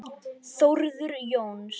Þórður Jóns